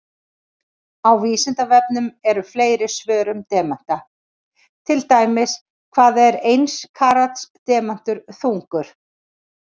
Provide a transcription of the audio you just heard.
Á Vísindavefnum eru fleiri svör um demanta, til dæmis: Hvað er eins karats demantur þungur?